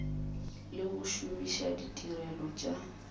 le go šomiša ditirelo tša